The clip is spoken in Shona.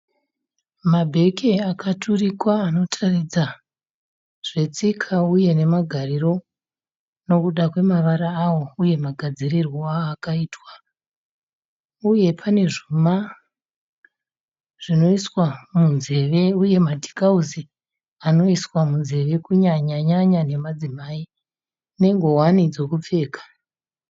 Mabheke akaturikwa anotaridza zvetsika uye nemagariro nekuda kwemavara awo uye magadzirirwo aakaitwa, uye pane zvuma zvinoiswa munzeve uye madhikausi anoiswa munzeve kunyanyanya nemadzimai nengowani dzekupfeka.